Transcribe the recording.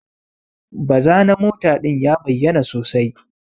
Baza na mota din ya bayyana sosai.